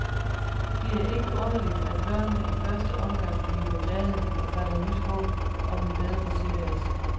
Det er ikke underligt, at børnene i første omgang bliver glade og fatter nyt håb om en bedre tilværelse.